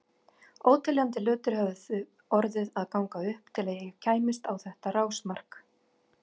Óteljandi hlutir höfðu orðið að ganga upp til að ég kæmist á þetta rásmark.